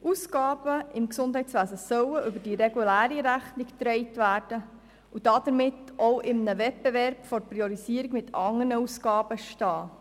Ausgaben im Gesundheitswesen sollen über die reguläre Rechnung finanziert werden und damit bei der Priorisierung in einem Wettbewerb mit anderen Ausgaben stehen.